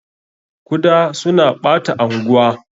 Kuda suna ɓata anguwa.